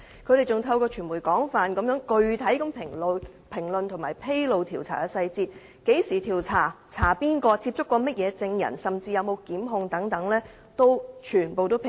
他們更透過傳媒廣泛具體評論和披露調查細節，包括何時調查、調查誰人、曾接觸甚麼證人，甚至有否作出檢控等均全部披露。